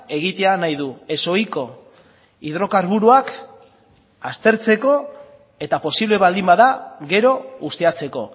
egitea nahi du ezohiko hidrokarburoak aztertzeko eta posible baldin bada gero ustiatzeko